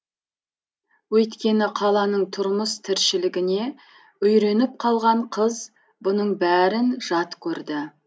өйткені қаланың тұрмыс тіршілігіне үйреніп қалған қыз бұның бәрін жат көрді